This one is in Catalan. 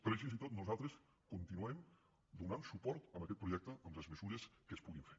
però així i tot nosaltres continuem donant suport a aquest pro·jecte amb les mesures que es puguin fer